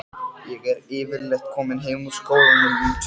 Ég er yfirleitt komin heim úr skólanum um tvöleytið.